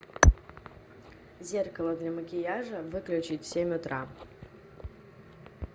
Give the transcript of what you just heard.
зеркало для макияжа выключить в семь утра